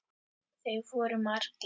Þeir voru margir.